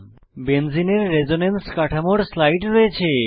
বেঞ্জিনের resonance কাঠামোর slide রয়েছে